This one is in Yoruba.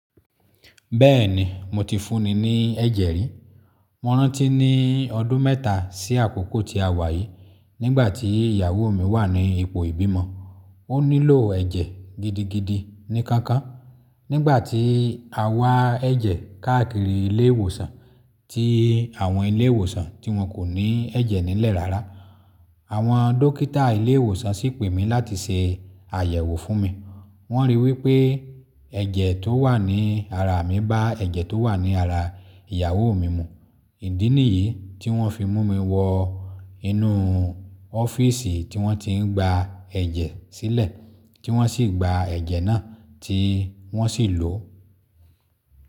Bẹ́ẹ̀ni, mo ti fúnni ní ẹ̀jẹ̀ rí. Mo rántí ní ọdún mẹ́ta sí àkókò tí a wà yìí, nígbà tí ìyàwó mi wà ní ipò ìbímọ. Ó nílò ẹ̀jẹ̀ gidigidi ní kankan. Nígbà tí a wá ẹ̀jẹ̀ káàkiri ilé ìwòsàn tí àwọn ilé ìwòsàn tí wọn kò ní ẹ̀jẹ̀ nílẹ̀ rárá. Àwọn dókítà ilé ìwòsàn sì pè mí láti ṣe àyẹ̀wò fún mi. Wọ́n ri wí pé ẹ̀jẹ̀ tó wà ní ara mi bá ẹ̀jẹ̀ tó wà ní ara ìyàwó mi mu. Ìdí nìyí tí wọ́n fi mú mi wọ inú ọ́fíìsì tí wọ́n ti ń gba ẹ̀jẹ̀ sílẹ̀, tí wọ́n sì gba ẹ̀jẹ̀ náà tí wọ́n sì lò ó.